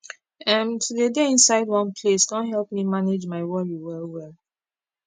emm to dey dey inside one place don help me manage my wori well well